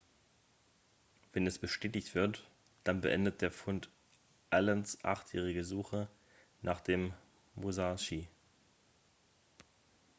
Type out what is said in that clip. wenn es bestätigt wird dann beendet der fund allens achtjährige suche nach dem musashi